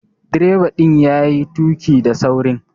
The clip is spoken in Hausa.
Direba din ya yi tuki da saurin.